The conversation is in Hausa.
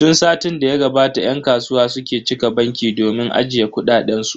Tun satin da ya gabata yan kasuwa suke cika banki domin ajiye kuɗaɗen su.